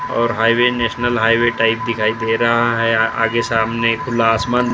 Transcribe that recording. और highway national highway type दिखाई दे रहा है आगे सामने खुला आसमान --